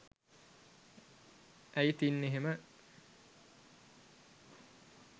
ඇයි තින් එහෙම